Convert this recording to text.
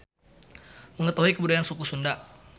Mengetahui kebudayaan suku Sunda.